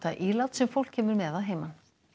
ílát sem fólk kemur með að heiman